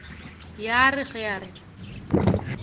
ya re ge a re